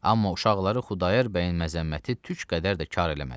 Amma uşaqları Xudayar bəyin məzəmməti tük qədər də kar eləmədi.